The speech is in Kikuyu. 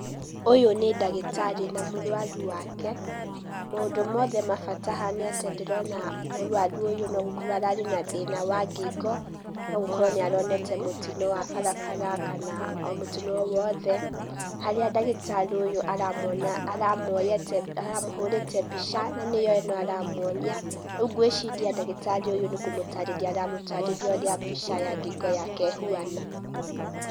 Ũyũ nĩ ndagĩtarĩ na mũrũaru wake, maũndũ mothe ma bata haha nĩ atĩ ndĩrona mũrũaru ũyũ nogũkorwo ararĩ na thĩna wa ngingo, no gũkorwo nĩ aronete mũtino wa barabara kana o mũtino owothe, harĩa ndagĩtarĩ ũyũ aramũhũrĩte mbica na nĩyo ĩno aramuonia, rĩu ngwĩciria ndagĩtarĩ ũyũ nĩ kũmũtarĩria aramũtarĩria ũrĩa mbica ya ngingo yake ĩhuana.